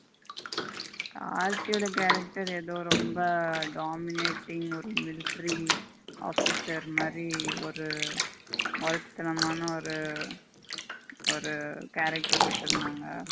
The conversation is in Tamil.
கார்த்தி ஓட character எதோ ரெம்ப dominating ஒரு military officer மாறி ஒரு மொரட்டுதனமான ஒரு ஒரு character குடுத்துருந்தாங்க.